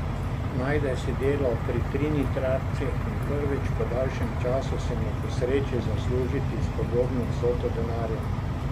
Najde si delo pri trinitarcih in prvič po daljšem času se mu posreči zaslužiti spodobno vsoto denarja.